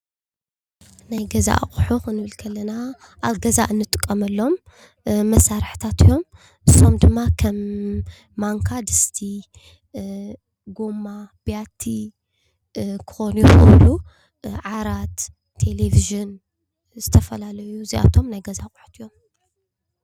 ናይ ገዛ ኣቑሑ ክንብል እንከለና ኣብ ገዛ ንጥቀመሎም መሳርሕታት እዮም፡፡ ንሶም ድማ ከም ማንካ፣ ድስቲ፣ ጎማ፡ ቢያቲ ክኾኑ ይኽእሉ እዩ፡፡ ዓራት፣ ቴሌቪዠን ዝተፈላለዩ እዚኣቶም ናይ ገዛ ኣቑሑ እዮም፡፡